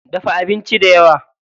Dafa abinci dayawa.